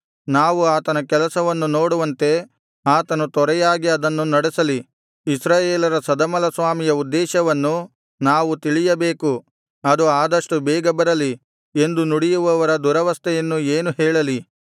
ನಾವು ಆತನ ಕೆಲಸವನ್ನು ನೋಡುವಂತೆ ಆತನು ತ್ವರೆಯಾಗಿ ಅದನ್ನು ನಡೆಸಲಿ ಇಸ್ರಾಯೇಲರ ಸದಮಲಸ್ವಾಮಿಯ ಉದ್ದೇಶವನ್ನು ನಾವು ತಿಳಿಯಬೇಕು ಅದು ಆದಷ್ಟು ಬೇಗ ಬರಲಿ ಎಂದು ನುಡಿಯುವವರ ದುರವಸ್ಥೆಯನ್ನು ಏನು ಹೇಳಲಿ